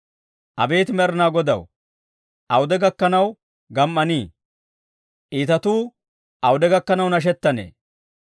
Abeet Med'inaa Godaw, awude gakkanaw gam"anee? Iitatuu awude gakkanaw nashettanee?